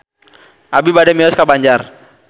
Abi bade mios ka Banjar